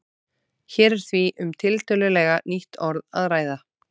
Hér er því um tiltölulega nýtt orð að ræða.